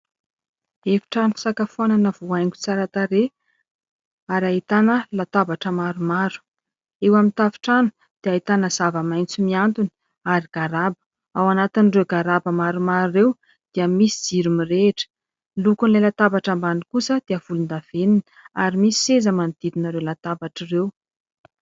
Efitrano fisakafoanana voahaingo tsara tarehy ary ahitana latabatra maromaro, eo amin'ny tafotrano dia hahitana zava-maintso miantona ary garaba, ao anatin'ireo garaba maromaro ireo dia misy jiro mirehitra, ny lokon'ilay latabatra ambany kosa dia volon-davenina ary misy seza manodidina ireo latabatra ireo.